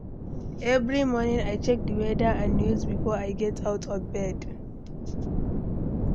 Every morning, I check di weather and news before I get out of bed.